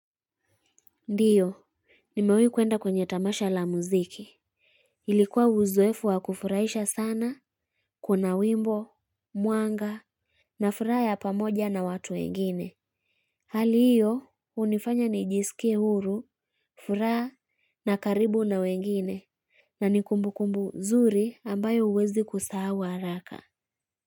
Ndio nimewahi kuenda kwenye tamasha la muziki ilikuwa uzoefu wa kufurahisha sana kuna wimbo Mwanga Na furaha ya pamoja na watu wengine hali hiyo hunifanya nijiskie huru furaha na karibu na wengine na ni kumbukumbu zuri ambayo huwezi kusahau haraka.